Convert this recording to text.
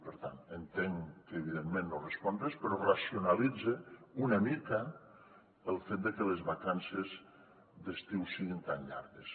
per tant entenc que evidentment no respon res però racionalitza una mica el fet de que les vacances d’estiu siguin tan llargues